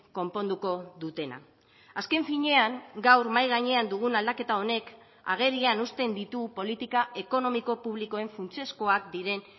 konponduko dutena azken finean gaur mahai gainean dugun aldaketa honek agerian uzten ditu politika ekonomiko publikoen funtsezkoak diren